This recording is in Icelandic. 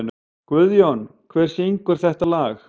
Guðjón, hver syngur þetta lag?